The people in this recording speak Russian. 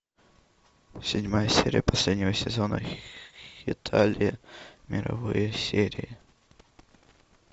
седьмая серия последнего сезона хеталия мировые серии